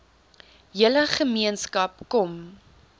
hele gemeenskap kom